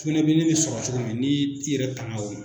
Sukunɛbilennin bi sɔrɔ cogo min n'i y'i yɛrɛ tanga o ma.